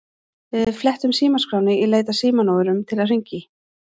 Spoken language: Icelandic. Við flettum símaskránni í leit að símanúmerum til að hringja í.